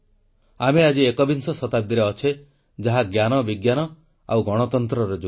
ଆମେ ଆଜି ଏକବିଂଶ ଶତାବ୍ଦୀରେ ଅଛେ ଯାହା ଜ୍ଞାନବିଜ୍ଞାନ ଓ ଗଣତନ୍ତ୍ରର ଯୁଗ